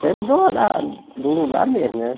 Sempre do da do lugar mesmo, né?